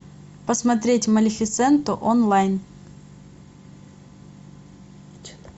посмотреть малефисенту онлайн